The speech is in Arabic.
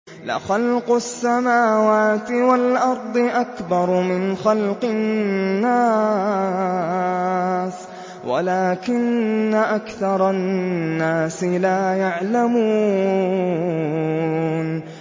لَخَلْقُ السَّمَاوَاتِ وَالْأَرْضِ أَكْبَرُ مِنْ خَلْقِ النَّاسِ وَلَٰكِنَّ أَكْثَرَ النَّاسِ لَا يَعْلَمُونَ